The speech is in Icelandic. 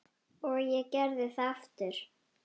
Og ég gerði það aftur.